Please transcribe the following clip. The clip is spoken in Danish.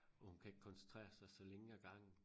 Hvor hun kan ikke koncentrere sig så længe ad gangen